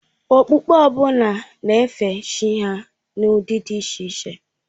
Okpukpe ọ bụla na-efe Chi ha n'ụdị dị iche iche.